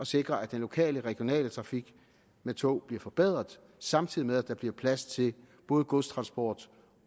sikre at den lokale og regionale trafik med tog bliver forbedret samtidig med at der bliver plads til både godstransport